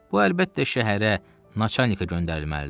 Bu əlbəttə şəhərə, naçalnikə göndərilməlidir.